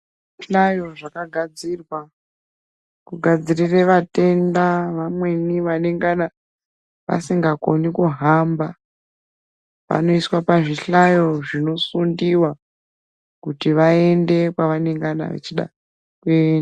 Tinayo zvakagadzirirwa kugadzirire vatenda vamweni vanengana vasingakoni kuhamba vanoiswa pazvihlayo zvinosundiwa kuti vaende kwavanengana vachida kuenda.